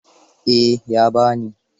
Eh, ya ba ni.